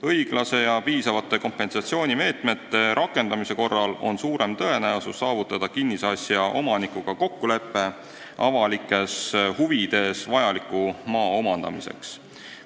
Õiglaste ja piisavate kompensatsioonimeetmete rakendamise korral on suurem tõenäosus saavutada kinnisasja omanikuga kokkulepe avalikes huvides vajaliku maa omandamiseks.